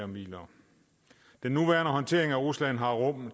midler den nuværende håndtering af rusland har rum